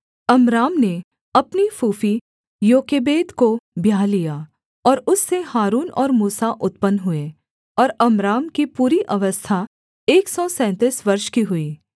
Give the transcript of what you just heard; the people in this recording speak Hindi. अम्राम ने अपनी फूफी योकेबेद को ब्याह लिया और उससे हारून और मूसा उत्पन्न हुए और अम्राम की पूरी अवस्था एक सौ सैंतीस वर्ष की हुई